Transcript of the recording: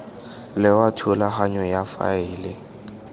le wa thulaganyo ya faele